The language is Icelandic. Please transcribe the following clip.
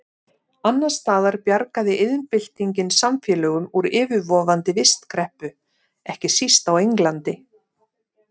Annars staðar bjargaði iðnbyltingin samfélögum úr yfirvofandi vistkreppu, ekki síst á Englandi.